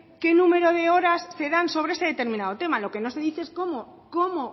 que número de horas se dan sobre este determinado tema lo que no se dice es cómo